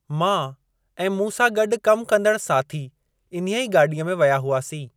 मां ऐं मूं सां गॾु कमु कंदड़ साथी इन्हीअ गाॾीअ में विया हुआसीं।